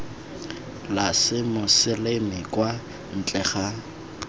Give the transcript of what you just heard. la semoseleme kwa ntle ga